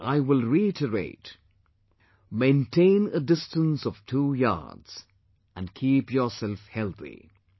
And, I will reiterate, "Maintain a distance of two yards and keep yourself healthy